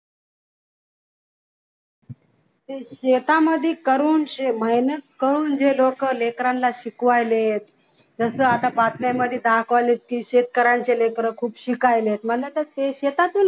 शेतामध्ये करून मेहनत करून जे लोक शिकवायलेत जस आता बातम्यांमध्ये दहा कॉलेजची शेतकऱ्यांची लेकरं आता खूप शिकायलेत मग आता ते शेतीतूनच